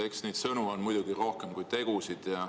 Eks neid sõnu on muidugi rohkem kui tegusid.